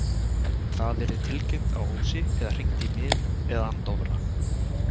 En það yrði tilkynnt á Ósi eða hringt í mig eða hann Dofra.